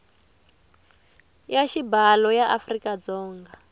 ya xibalo ya afrika dzonga